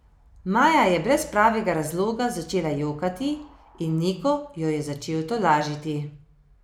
Maja je brez pravega razloga začela jokati in Niko jo je začel tolažiti.